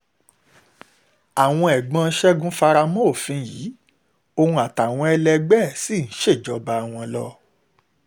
àwọn ẹ̀gbọ́n ṣẹ́gun fara mọ́ òfin yìí òun àtàwọn ẹlẹgbẹ́ ẹ̀ sì ṣèjọba wọn wọn lọ